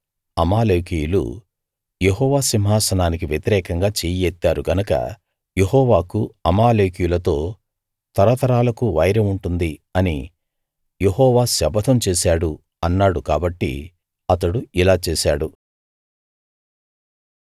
అమాలేకీయులు యెహోవా సింహాసనానికి వ్యతిరేకంగా చెయ్యి ఎత్తారు గనక యెహోవాకు అమాలేకీయులతో తరతరాలకు వైరం ఉంటుంది అని యెహోవా శపథం చేశాడు అన్నాడు కాబట్టి అతడు ఇలా చేశాడు